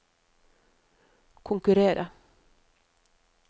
konkurrere